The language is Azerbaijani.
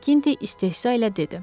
Makinti istehza ilə dedi.